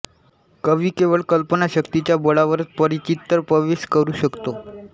कवी केवळ कल्पनाशक्तीच्या बळावरच परचित्त प्रवेश करू शकतो